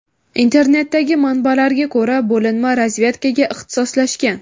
Internetdagi manbalarga ko‘ra, bo‘linma razvedkaga ixtisoslashgan.